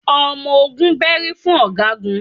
Ọmọ ogun bẹ́rí fún ọ̀gágun